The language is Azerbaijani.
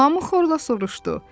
Hamı xorla soruşdu.